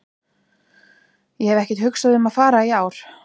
Ég hef ekkert hugsað um að fara í ár.